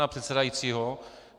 ... pana předsedajícího.